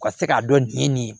U ka se k'a dɔn nin ye nin ye